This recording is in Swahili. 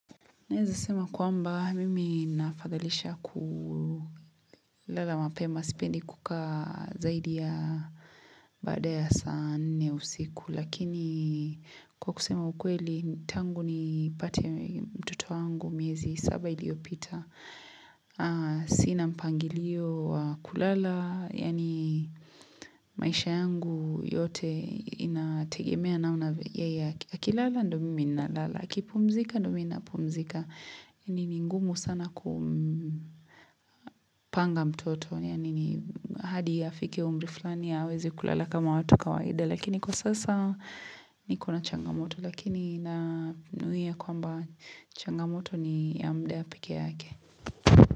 Naeza sema kwamba mimi nafadhalisha kulala mapema sipendi kuka zaidi ya baada ya saa nne usiku. Lakini kwa kusema ukweli tangu ni pate mtoto angu miezi saba iliopita. Sina mpangilio wa kulala yani maisha yangu yote inategemea namna ya yeye akilala ndio mimi na lala. Kipumzika, ndo mimi napumzika ni ngumu sana kupanga mtoto. Yani ni hadi ye afike umri flani aweze kulala kama watu kawaida Lakini kwa sasa niko na changamoto Lakini na nuia kwamba changamoto ni ya mdaa pekee yake.